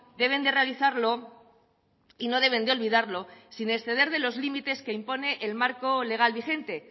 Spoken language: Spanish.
deben de realizarlo y no deben de olvidarlo sin exceder de los límites que impone el marco legal vigente